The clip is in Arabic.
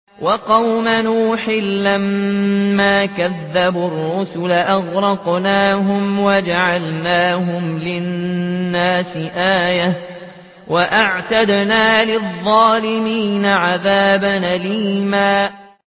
وَقَوْمَ نُوحٍ لَّمَّا كَذَّبُوا الرُّسُلَ أَغْرَقْنَاهُمْ وَجَعَلْنَاهُمْ لِلنَّاسِ آيَةً ۖ وَأَعْتَدْنَا لِلظَّالِمِينَ عَذَابًا أَلِيمًا